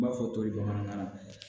N b'a fɔ toli bamanankan na